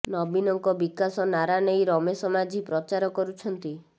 ନବୀନଙ୍କ ବିକାଶ ନାରା ନେଇ ରମେଶ ମାଝି ପ୍ରଚାର କରୁଛନ୍ତି